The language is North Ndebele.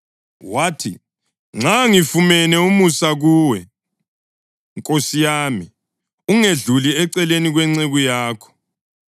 Wathi, “Nxa ngifumene umusa kuwe, nkosi yami, ungedluli eceleni kwenceku yakho.